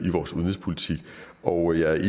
i vores udenrigspolitik og jeg er